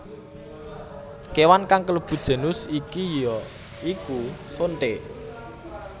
Kewan kang kalebu genus iki ya iku sonthé